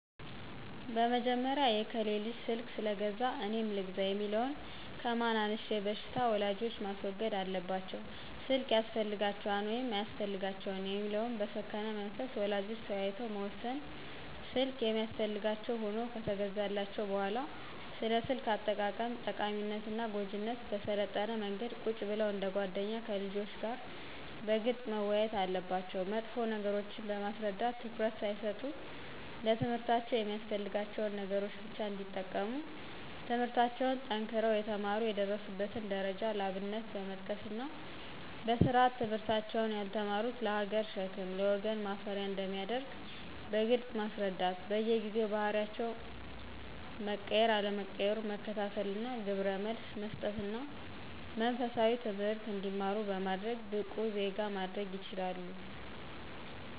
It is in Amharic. በመጀመሪያ የከሌ ልጅ ስልክ ስለገዛ እኔም ልግዛ የሚለውን ከማን አንሸ በሽታ ወላጆች ማስወገድ አለባቸው ስልክ ያስፈልጋቸዋል ወይስ አያስፈልጋቸውም የሚለውን በሰከነ መንፈስ ወላጆች ተወያይተው መወሰን ስልክ የሚያስፈልጋቸው ሁኖ ከተገዛላቸው በሁዋላ ስለ ስልክ አጠቃቀም ጠቃሚነትና ጎጅነት በሰለጠነ መንገድ ቁጭ ብለው እንደ ጎደኛ ከልጆች ጋር በግልጽ መወያየት አለባቸው መጥፎ ነገሮችን በማስረዳት ትኩረት ሳይሰጡ ለትምህርታቸው የሚያስፈልጋቸውን ነገሮች ብቻ እንዲጠቀሙ ትምለህርታቸውን ጠንክረው የተማሩ የደረሱበትን ደረጃ ለአብነት በመጥቀስና በስርአት ትምህርታቸውን ያልተማሩት ለሀገር ሸክም ለወገን ማፈሪያ አንደሚያደርግ በግልጽ ማስረዳት በየጊዜው ባህሪያቸው መቀየር አለመቀየሩን መከታተልና ግብረመልስ መሰጠትና መንፈሳዊ ትምህርት እንዲማሩ በማድረግ ብቁ ዜጋ ማድረግ ይችላሉ።